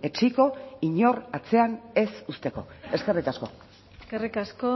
etsiko inor atzean ez uzteko eskerrik asko eskerrik asko